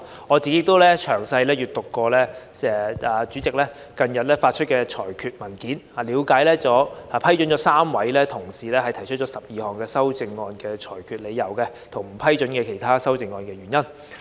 我亦詳細閱讀了主席近日發出的裁決文件，內容涵蓋了批准3位同事提出的12項修正案的理由，以及不批准其他修正案的原因。